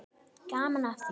Gaman af því.